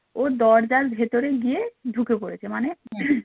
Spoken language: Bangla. ও দরজার ভেতরে গিয়ে ঢুকে পড়েছে মানে